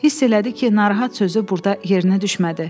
Hiss elədi ki, narahat sözü burda yerinə düşmədi.